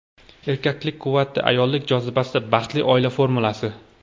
Erkaklik quvvati, ayollik jozibasi – baxtli oila formulasi!.